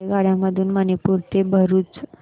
रेल्वेगाड्यां मधून मणीनगर ते भरुच